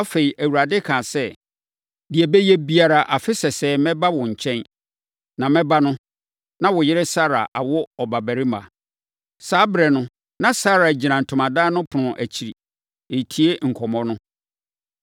Afei, Awurade kaa sɛ, “Deɛ ɛbɛyɛ biara, afe sɛsɛɛ mɛba wo nkyɛn, na mɛba no, na wo yere Sara awo ɔbabarima.” Saa ɛberɛ no, na Sara gyina ntomadan no ɛpono akyiri, retie nkɔmmɔ no.